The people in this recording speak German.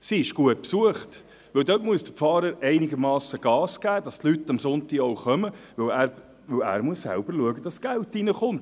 – Die kanadische Kirche ist gut besucht, denn dort muss der Pfarrer einigermassen Gas geben, damit die Leute am Sonntag kommen, denn er muss selbst dafür schauen, dass das Geld reinkommt.